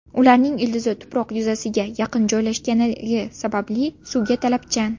Ularning ildizi tuproq yuzasiga yaqin joylashgani sababli suvga talabchan.